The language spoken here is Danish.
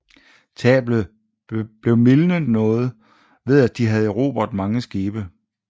Tabet blev mildnet noget ved at de havde erobret nogle skibe